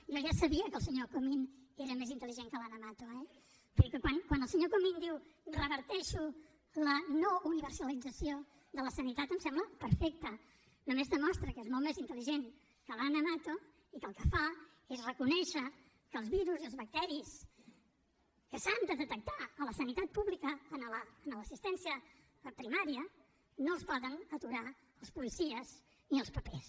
jo ja sabia que el senyor comín era més intel·ligent que l’ana mato eh vull dir que quan el senyor comín diu reverteixo la no universalització de la sanitat em sembla perfecte només demostra que és molt més intel·ligent que l’ana mato i que el que fa és reconèixer que els virus i els bacteris que s’han de detectar a la sanitat pública a l’assistència primària no els poden aturar els policies ni els papers